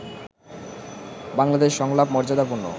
বাংলাদেশ সংলাপ মর্যাদাপূর্ণ